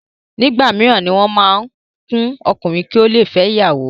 Ìgbà mííràn ni wọ́n ma ku ọkùnrin ki o to le fẹ ìyàwó.